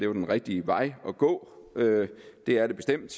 var en rigtig vej at gå det er det bestemt